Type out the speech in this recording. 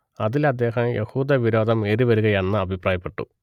അതിൽ അദ്ദേഹം യഹൂദവിരോധം ഏറിവരുകയാണെന്ന് അഭിപ്രായപ്പെട്ടു